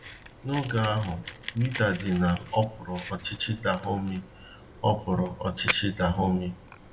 N’oge ahụ, Wida dị na okpúrù ọchịchị Dahọmi okpúrù ọchịchị Dahọmi..